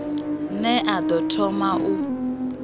ne a ḓo thoma u